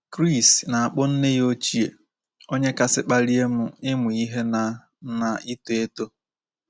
Chris na-akpọ nne ya ochie “ onye kasị kpalie m ịmụ ihe na na ito eto. ”